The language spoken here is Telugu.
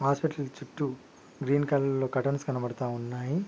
హాస్పిటల్ చుట్టూ గ్రీన్ కలర్ లో కర్టన్స్ కనబడతా ఉన్నాయి.